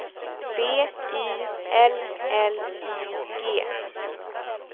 B I L L I G